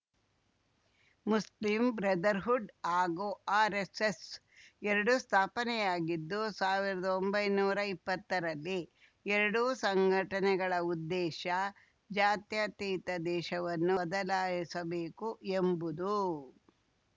Muslim brotherhood ಹಾಗೂ RSS ಎರಡೂ ಸ್ಥಾಪನೆಯಾಗಿದ್ದು ಸಾವಿರ್ದೊಂಬೈನೂರಾ ಇಪ್ಪತ್ತರಲ್ಲಿ ಎರಡೂ ಸಂಘಟನೆಗಳ ಉದ್ದೇಶ ಜಾತ್ಯತೀತ ದೇಶವನ್ನು ಬದಲಾಯಿಸಬೇಕು ಎಂಬುದು